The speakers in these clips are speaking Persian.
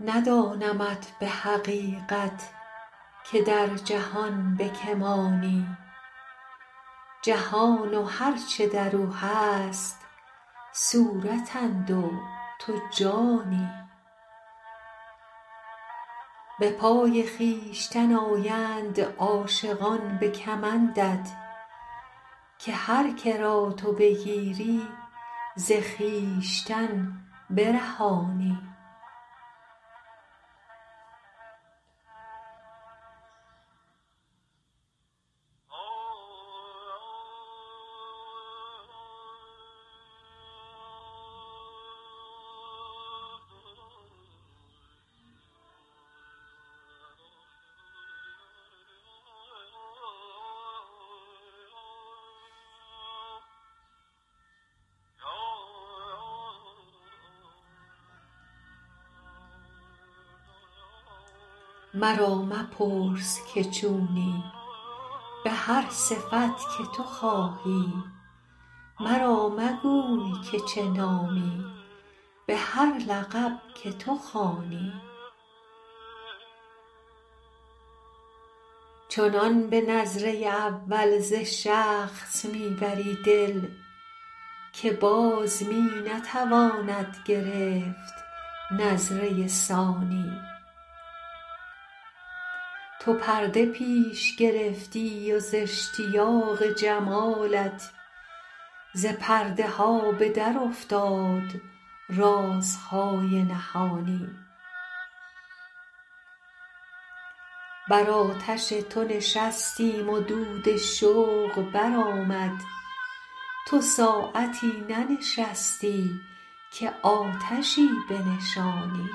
ندانمت به حقیقت که در جهان به که مانی جهان و هر چه در او هست صورتند و تو جانی به پای خویشتن آیند عاشقان به کمندت که هر که را تو بگیری ز خویشتن برهانی مرا مپرس که چونی به هر صفت که تو خواهی مرا مگو که چه نامی به هر لقب که تو خوانی چنان به نظره اول ز شخص می ببری دل که باز می نتواند گرفت نظره ثانی تو پرده پیش گرفتی و ز اشتیاق جمالت ز پرده ها به درافتاد رازهای نهانی بر آتش تو نشستیم و دود شوق برآمد تو ساعتی ننشستی که آتشی بنشانی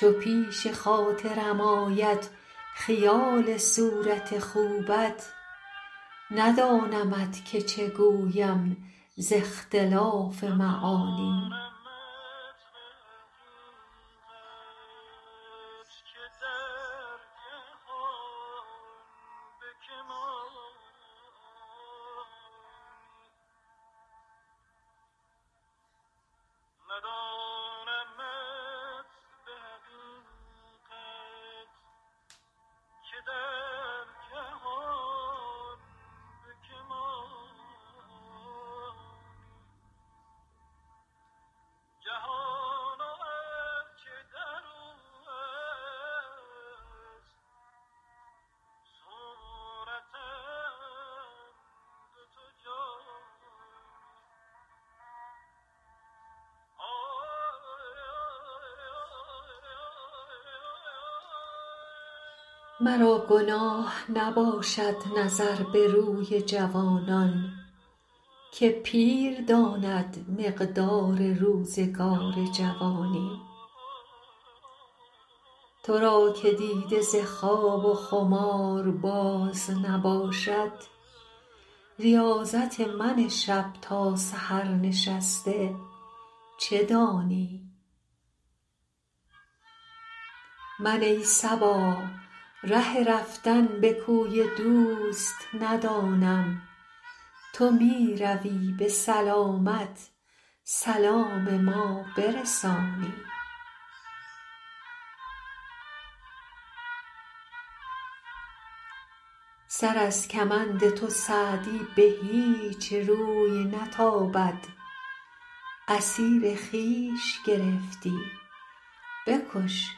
چو پیش خاطرم آید خیال صورت خوبت ندانمت که چه گویم ز اختلاف معانی مرا گناه نباشد نظر به روی جوانان که پیر داند مقدار روزگار جوانی تو را که دیده ز خواب و خمار باز نباشد ریاضت من شب تا سحر نشسته چه دانی من ای صبا ره رفتن به کوی دوست ندانم تو می روی به سلامت سلام من برسانی سر از کمند تو سعدی به هیچ روی نتابد اسیر خویش گرفتی بکش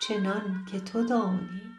چنان که تو دانی